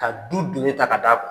Ka du doni ta ka d'a kun.